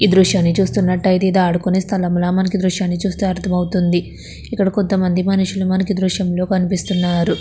ఈ దృశ్యాన్ని చూస్తున్నటైతే ఇది ఆదుకునే స్థలం ల మనకి ఈ దృశ్యాన్ని చూస్తే అర్ధం అవుతుంది ఇక్కడ కొంత మంది మనుషులు మనకి ఈ దృశ్యం లో కనిపిస్తున్నారు .